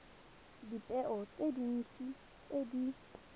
dipeo tse dintsi tse di